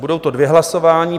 Budou to dvě hlasování.